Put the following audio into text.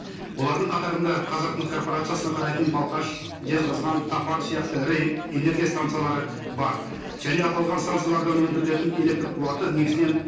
олардың қатарында қазақмыс корпорациясына қарайтын балқаш жезқазған топар сияқты ірі энергия станциялары бар және аталған станциялардан өндірілетін электрқуаты негізінен